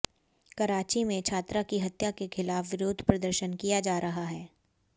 करांची में छात्रा की हत्या के खिलाफ विरोध प्रदर्शन किया जा रहा है